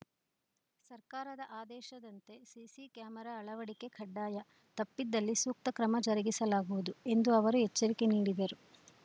ಸರ್ಕಾರದ ಆದೇಶದಂತೆ CC camera ಅಳವಡಿಕೆ ಕಡ್ಡಾಯ ತಪ್ಪಿದಲ್ಲಿ ಸೂಕ್ತ ಕ್ರಮ ಜರುಗಿಸಲಾಗುವುದು ಎಂದು ಅವರು ಎಚ್ಚರಿಕೆ ನೀಡಿದರು